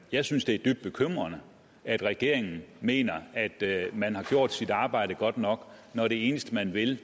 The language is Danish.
jeg synes det er dybt bekymrende at regeringen mener at man har gjort sit arbejde godt nok når det eneste man vil